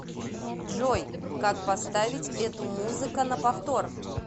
джой как поставить эту музыка на повтор